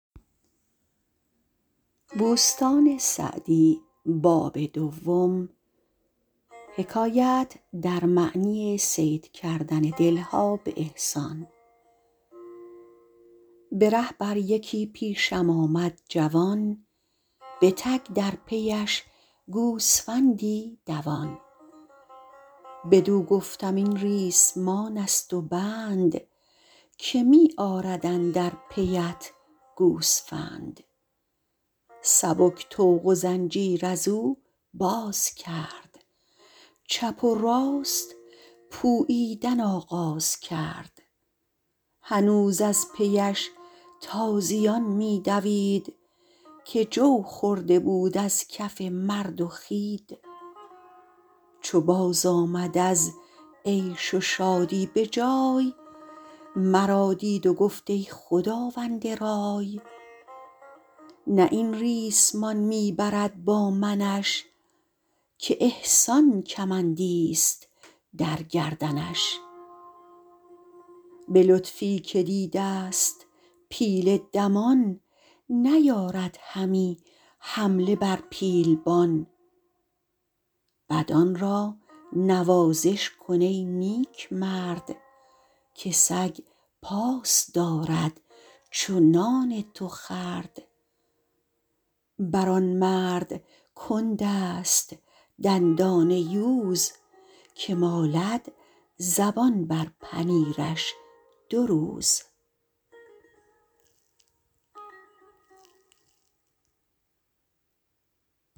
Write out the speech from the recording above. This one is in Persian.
به ره بر یکی پیشم آمد جوان به تک در پیش گوسفندی دوان بدو گفتم این ریسمان است و بند که می آرد اندر پیت گوسفند سبک طوق و زنجیر از او باز کرد چپ و راست پوییدن آغاز کرد هنوز از پیش تازیان می دوید که جو خورده بود از کف مرد و خوید چو باز آمد از عیش و شادی به جای مرا دید و گفت ای خداوند رای نه این ریسمان می برد با منش که احسان کمندی است در گردنش به لطفی که دیده ست پیل دمان نیارد همی حمله بر پیلبان بدان را نوازش کن ای نیکمرد که سگ پاس دارد چو نان تو خورد بر آن مرد کند است دندان یوز که مالد زبان بر پنیرش دو روز